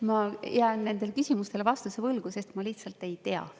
Ma jään nendele küsimustele vastuse võlgu, sest ma lihtsalt ei tea.